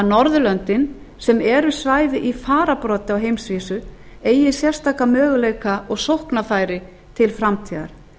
norðurlöndin sem eru svæði í fararbroddi á heimsvísu eigi sérstaka möguleika og sóknarfæri til framtíðar